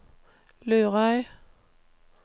Lurøy